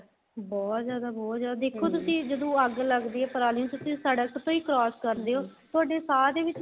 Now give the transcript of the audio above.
ਬਹੁਤ ਜਿਆਦਾ ਬਹੁਤ ਜਿਆਦਾ ਦੇਖੋ ਤੁਸੀਂ ਜਦੋਂ ਅੱਗ ਲੱਗਦੀ ਏ ਪਰਾਲੀ ਨੂੰ ਫ਼ੇਰ ਤੁਸੀਂ ਸੜਕ ਤੋ ਹੋ cross ਕਰਦੇ ਹੋ ਤੁਹਾਡੇ ਸਾਹ ਦੇ ਵਿੱਚ